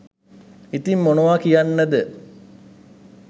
ඉතිං මොනවා කියන්නද